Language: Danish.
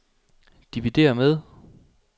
dividér med